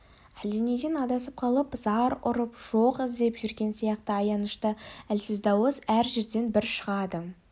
әлденеден адасып қалып зар ұрып жоқ іздеп жүрген сияқты аянышты әлсіз дауыс әр жерден бір шығады